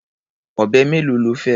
Ọ̀bẹ mélòó lo fẹ́?